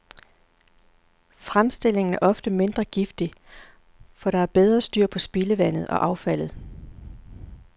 Fremstillingen er ofte mindre giftig, for der er bedre styr på spildevandet og affaldet.